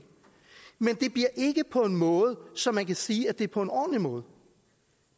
men det bliver ikke på en måde så man kan sige at det er på en ordentlig måde